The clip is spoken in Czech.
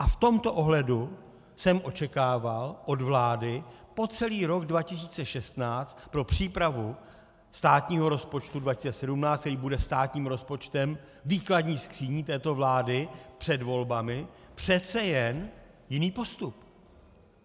A v tomto ohledu jsem očekával od vlády po celý rok 2016 pro přípravu státního rozpočtu 2017, který bude státním rozpočtem, výkladní skříní této vlády před volbami, přece jen jiný postup.